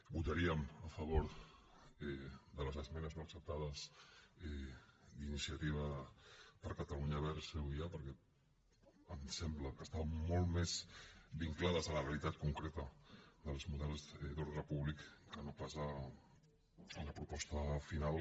votaríem a favor de les esmenes no acceptades d’iniciativa per catalunya verds euia perquè ens sembla que estan molt més vinclades a la realitat concreta dels models d’ordre públic que no pas la proposta final